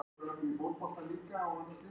Fyrsta viðureignin við Vestur-Þýskaland